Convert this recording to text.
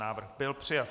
Návrh byl přijat.